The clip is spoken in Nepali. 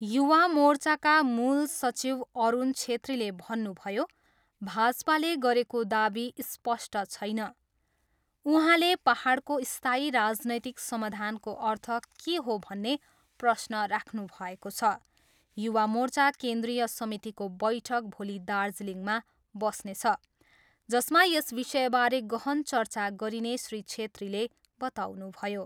युवा मोर्चाका मूल सचिव अरुण छेत्रीले भन्नुभयो, भाजपाले गरेको दावी स्पष्ट छैन। उहाँले पाहाडको स्थायी राजनैतिक समाधानको अर्थ के हो भन्ने प्रश्न राख्नुभएको छ। युवा मोर्चा केन्द्रिय समितिको बैठक भोलि दार्जिलिङमा बस्नेछ, जसमा यस विषयबारे गहन चर्चा गरिने श्री छेत्रीले बताउनुभयो।